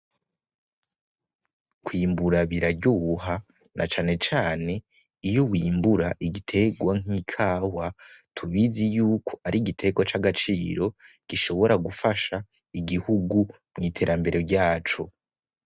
Kwimbura biraryoha na cane cane iyo wimbura igiterwa nk’ikawa, tubizi yuko ari igiterwa c’agaciro gishobora gufasha igihugu mw’iterambere ryaco.